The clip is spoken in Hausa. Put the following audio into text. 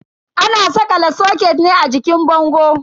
Ana sakala soket ne a jikin bango.